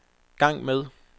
gang med